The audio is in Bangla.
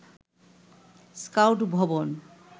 স্কাউট ভবন